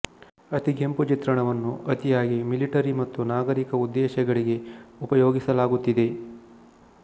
ಅತಿಗೆಂಪು ಚಿತ್ರಣವನ್ನು ಅತಿಯಾಗಿ ಮಿಲಿಟರಿ ಮತ್ತು ನಾಗರಿಕ ಉದ್ದೇಶಗಳಿಗೆ ಉಪಯೋಗಿಸಲಾಗುತ್ತಿದೆ